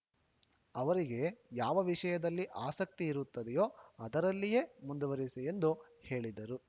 ಅವರಿಗೆ ಯಾವ ವಿಷಯದಲ್ಲಿ ಆಸಕ್ತಿ ಇರುತ್ತದೆಯೋ ಅದರಲ್ಲಿಯೇ ಮುಂದುವರೆಸಿ ಎಂದು ಹೇಳಿದರು